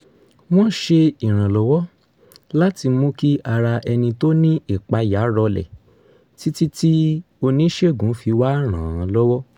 wọ́n ṣe ìrànlọ́wọ́ láti mú kí ara ẹni tó ní ìpayà rọlẹ̀ títí tí oníṣègùn fi wá ràn án lọ́wọ́